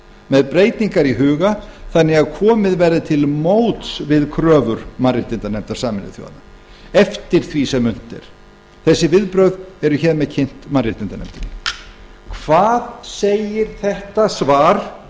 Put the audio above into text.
með breytingar í huga þannig að komið verði til móts við kröfur mannréttindanefndar sameinuðu þjóðanna eftir því sem unnt er þessi viðbrögð eru hér með kynnt mannréttindanefndinni hvað segir þetta svar